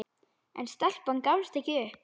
En stelpan gafst ekki upp.